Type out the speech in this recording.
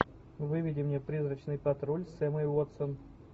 выведи мне призрачный патруль с эммой уотсон